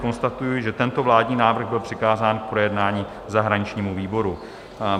Konstatuji, že tento vládní návrh byl přikázán k projednání zahraničnímu výboru.